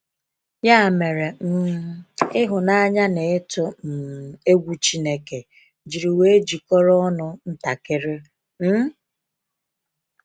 Ya mere, um ịhụnanya na ịtụ um egwu Chineke jiri wee jikọrọ ọnụ ntakịrị. um